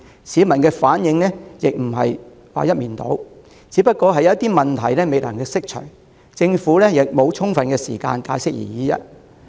市民的反應亦非一面倒，只是有些疑問未能釋除，政府亦沒有充足時間解釋而已。